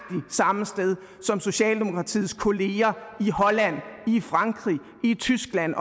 samme sted som socialdemokratiets kolleger i holland i frankrig i tyskland